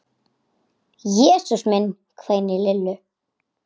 Jesús minn hvein í Lillu.